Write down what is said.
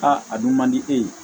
a dun man di e ye